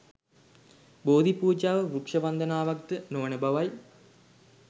බෝධිපූජාව වෘක්‍ෂ වන්දනාවක් ද නොවන බවයි.